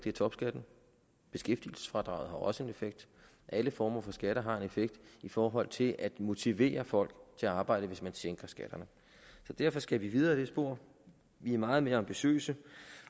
i topskatten beskæftigelsesfradraget har også en effekt og alle former for skatter har en effekt i forhold til at motivere folk til at arbejde hvis man sænker skatterne derfor skal vi videre ad det spor vi er meget mere ambitiøse